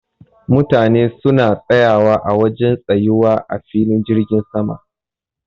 Mutane suna tsayawa a wajen tsayuwa a filin jirgin sama.